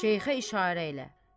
Şeyxə işarə elə.